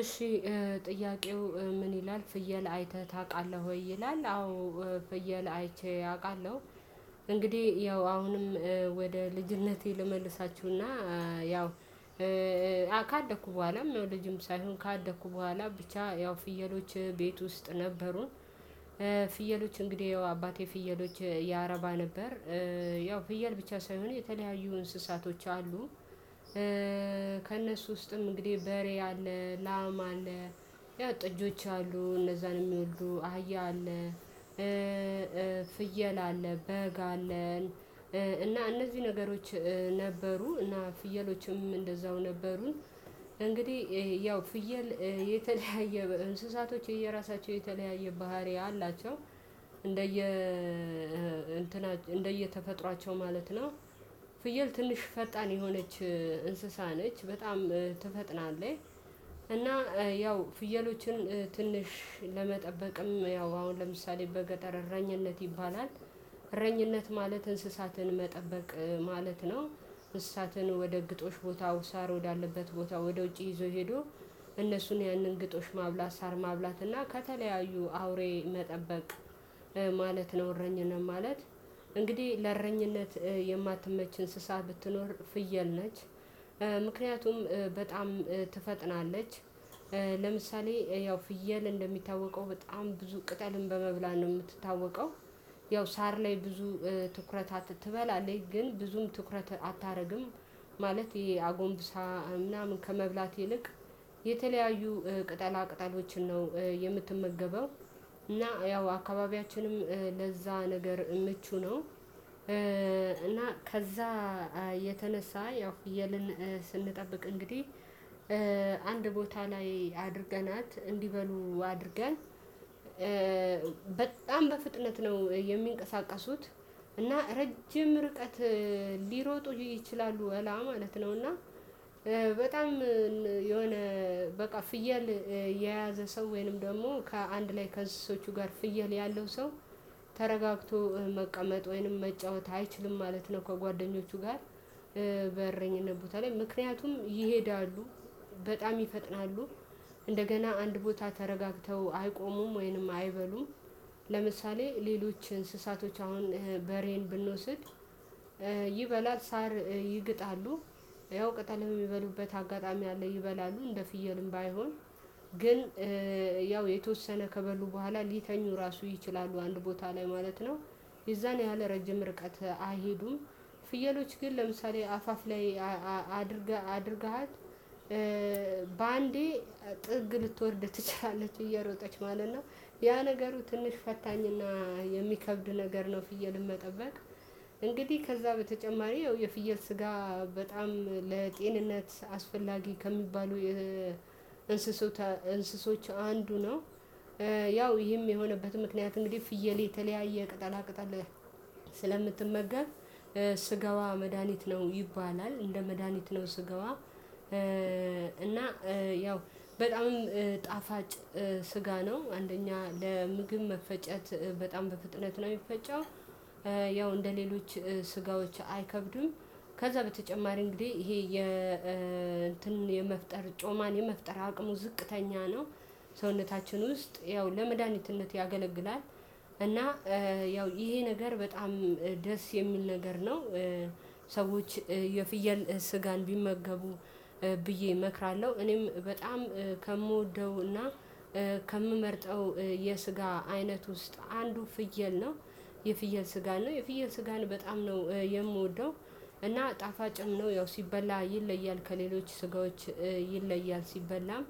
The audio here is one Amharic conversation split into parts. እሺ ጥያቄው ምን ይላል ፍየል አይተህ ታውቃለህ ወይ? ይላል አዎ ፍየል አይቼ አውቃለሁ። እንግዲህ ያው አሁንም ወደ ልጅነቴ ልመልሳችሁና። ያው ካደኩ በኋላ ልጅም ሳይሆን ካደኩ በኋላ ብቻ ያው ፍየሎች ቤት ውስጥ ነበሩን። ፍየሎች እንግዲህ አባቴ ፍየሎች ያረባ ነበር። ያው ፍየል ብቻ ሳይሆን የተለያዩ እንስሳቶች አሉ። ከእነሱ ውስጥም እንግዲህ በሬ አለ ላም ያው ጥጆች አሉ እነዛንም የሚሉ አህያ አለ። ፍየል አለ በግ አለን። እና እነዚህ ነገሮች ነበሩ እና ፍየሎችም እንደዛው ነበሩ። እንግዲህ ያው ፍየል የተለያየ እንስሳቶች የየራሳቸው የተለያየ ባህሪ አላቸው። እንደየ እንትና እንደየተፈጥሯቸው ማለት ነው። ፍየል ትንሽ ፈጣን የሆነች እንስሳ ነች በጣም ትፈጥናለች። እና ያው ፍየሎችን ትንሽ ለመጠበቅም ያው አሁን ለምሳሌ በገጠር እረኝነት ይባላል እረኝነት ማለት እንስሳትን መጠበቅ ማለት ነው። እንስሳትን ወደ ግጦሽ ቦታ ሳር ወዳለበት ቦታ ወደ ውጪ ይዞ ሄዶ እነሱን ያንን ግጦሽ ማብላት ሳር ማብላት እና ከተለያዩ አውሬ መጠበቅ። ማለት ነው እረኝነት ማለት እንግዲህ ለእረኝነት የማትመች እንስሳ ብትኖር ፍየል ነች። ምክንያቱም በጣም ትፈጥናለች። ለምሳሌ ያው ፍየል እንደሚታወቀው በጣም ብዙ ቅጠልን በመብላት ነው የምትታወቀው። ያው ሳር ላይ ብዙ ትኩረት ትበላለች ግን ብዙም ትኩረት አታደርግም። ማለት ይሄ አጎንብሳ ምናምን ከመብላት ይልቅ የተለያዩ ቅጠላ ቅጠሎችን ነው የምትመገበው። እና ያው አካባቢያችንም ለዛ ነገር ምቹ ነው። እና ከዛ የተነሳ ያው ፍየልን ስንጠብቅ እንግዲህ አንድ ቦታ ላይ አድርገናት እንዲበሉ አድርገን በጣም በፍጥነት ነው የሚንቀሳቀሱት። እና ረጅም ርቀት ሊሮጡ ይችላሉ ወላ ማለት ነው። እና የሆነ በቃ ፍየል የያዘ ሰው ወይንም ደግሞ ከአንድ ላይ ከእንስሶዎቹ ጋር ፍየል ያለው ሰው ተረጋግቶ መቀመጥ ወይንም መጫወት አይችልም ማለት ነው። ከጓደኞቹ ጋር በእረኝነት ቦታ ላይ ምክንያቱም ይሄዳሉ በጣም ይፈጥናሉ። እንደገና አንድ ቦታ ተረጋግተው አይቆሙም ወይንም አይበሉም። ለምሳሌ ሌሎች እንስሳቶች አሁን በሬን ብንወስድ ይበላል ሳር ይግጣሉ። ያው ቅጠል የሚበሉበት አጋጣሚ አለ ይበላሉ እንደ ፍየልም ባይሆን ግን ያው የተወሰነ ከበሉ በኋላ ሊተኙ ራሱ ይችላሉ አንድ ቦታ ላይ ማለት ነው። የዛን ያህል ረጅም ርቀት አይሄዱም። ፍየሎች ግን ለምሳሌ አፋፍ ላይ አድርገሃት በአንዴ ጥግ ልትወርድ ትችላለች እየሮጠች ማለት ነው። ያ ነገሩ ትንሽ ፈታኝና የሚከብድ ነገር ነው። ፍየልን መጠበቅ እንግዲህ ከዛ በተጨማሪ የፍየል ስጋ በጣም ለጤንነት አስፈላጊ ከሚባሉ እንስሶች አንዱ ነው። ያው ይህም የሆነበት ምክንያት እንግዲህ ፍየል የተለያየ ቅጠላ ቅጠል ስለምትመገብ ስጋዋ መድሃኒት ነው ይባላል። እንደ መድሃኒት ነው ስጋዋ እና ያው በጣም ጣፋጭ ስጋ ነው አንደኛ ለምግብ መፈጨት በጣም በፍጥነት ነው የሚፈጨው። ያው እንደሌሎች ስጋዎች አይከብድም። ከዛ በተጨማሪ እንግዲህ ይሄ የ የመፍጠር ጮማን የመፍጠር አቅሙ ዝቅተኛ ነው። ሰውነታችን ውስጥ ያው ለመድኃኒትነት ያገለግላል። እና ያው ይሄ ነገር በጣም ደስ የሚል ነገር ነው። ሰዎች የፍየል ስጋን ቢመገቡ ብዬ እመክራለሁ እኔም በጣም ከምወደውና ከምመርጠው የስጋ አይነት ውስጥ አንዱ ፍየል ነው። የፍየል ስጋ ነው የፍየል ስጋን በጣም ነው የምወደው። እና ጣፋጭም ነው ያው ሲበላ ይለያል ከሌሎች ስጋዎች ይለያል ሲበላም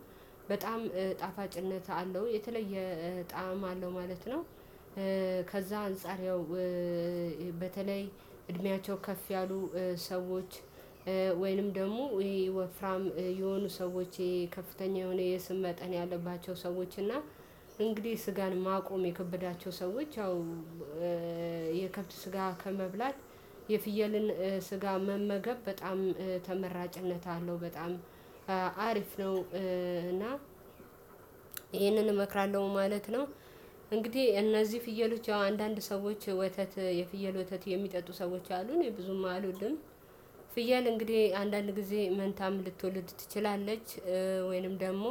በጣም ጣፋጭነት አለው የተለየ ጣዕም አለው ማለት ነው። ከዛ አንፃር ያው በተለይ እድሜያቸው ከፍ ያሉ ሰዎች ወይንም ደግሞ ወፍራም የሆኑ ሰዎች ከፍተኛ የሆነ የስብ መጠን ያለባቸው ሰዎች እና እንግዲህ ስጋን ማቆም የከበዳቸው ሰዎች ያው የከብት ስጋ ከመብላት የፍየልን ስጋ መመገብ በጣም ተመራጭነት አለው። አሪፍ ነው። እና ይሄንን እመክራለሁ ማለት ነው። እነዚህ ፍየሎች ያው አንዳንድ ሰዎች ወተት የፍየል ወተት የሚጠጡ ሰዎች አሉ እኔ ብዙም አልወድም። ፍየል እንግዲህ አንዳንድ ጊዜ መንታም ልትወልድ ትችላለች ወይንም ደግሞ